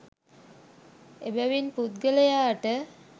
එබැවින් පුද්ගලයාට